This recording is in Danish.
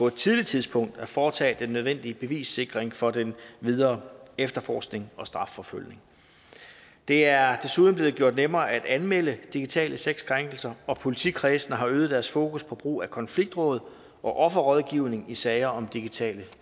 et tidligt tidspunkt at foretage den nødvendige bevissikring for den videre efterforskning og strafforfølgning det er desuden blevet gjort nemmere at anmelde digitale sexkrænkelser og politikredsene har øget deres fokus på brug af konfliktråd og offerrådgivning i sager om digitale